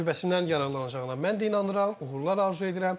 Təcrübəsindən yararlanacağına mən də inanıram, uğurlar arzu edirəm.